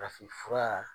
Farafinfura